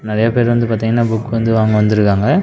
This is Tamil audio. நெறைய பேர் வந்து பாத்திங்கன்னா புக் வந்து வாங்க வந்துருக்காங்க.